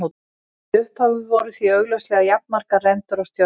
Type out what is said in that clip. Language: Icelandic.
Í upphafi voru því augljóslega jafnmargar rendur og stjörnur.